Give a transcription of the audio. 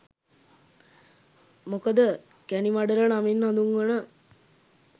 මොකද කැනිමඩල නමින් හදුන්වන